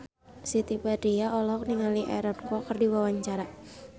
Siti Badriah olohok ningali Aaron Kwok keur diwawancara